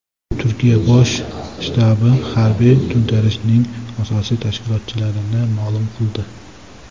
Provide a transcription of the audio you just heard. Turkiya bosh shtabi harbiy to‘ntarishning asosiy tashkilotchilarini ma’lum qildi.